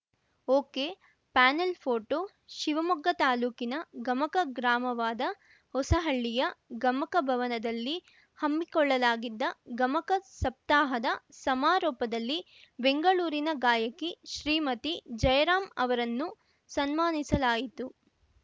ಒಕೆಪ್ಯಾನೆಲ್‌ photo Shivamogga ತಾಲೂಕಿನ ಗಮಕ ಗ್ರಾಮವಾದ ಹೊಸಹಳ್ಳಿಯ ಗಮಕ ಭವನದಲ್ಲಿ ಹಮ್ಮಿಕೊಳ್ಳಲಾಗಿದ್ದ ಗಮಕ ಸಪ್ತಾಹದ ಸಮಾರೋಪದಲ್ಲಿ ಬೆಂಗಳೂರಿನ ಗಾಯಕಿ ಶ್ರೀಮತಿ ಜಯರಾಂ ಅವರನ್ನು ಸನ್ಮಾನಿಸಲಾಯಿತು